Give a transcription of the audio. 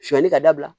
Sɔnyani ka dabila